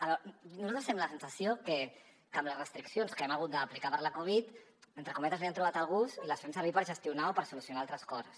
a veure nosaltres tenim la sensació que amb les restriccions que hem hagut d’aplicar per la covid entre cometes li han trobat el gust i les fem servir per gestionar o per solucionar altres coses